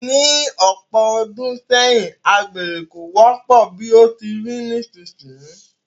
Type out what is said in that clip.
Ní ọ̀pọ̀ ọdún sẹ́yìn, agbere kò wọ́pọ̀ bí ó ti rí nísinsìnyí